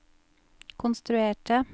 konstruerte